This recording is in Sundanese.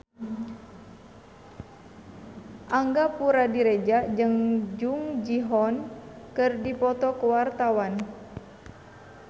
Angga Puradiredja jeung Jung Ji Hoon keur dipoto ku wartawan